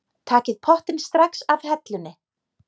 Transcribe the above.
Takið pottinn strax af hellunni.